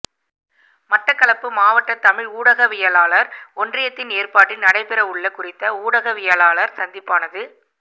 மட்டக்களப்பு மாவட்ட தமிழ் ஊடகவியலாளர் ஒன்றியத்தின் ஏற்பாட்டில் நடைபெறவுள்ள குறித்த ஊடகவியலாளர் சந்திப்பானது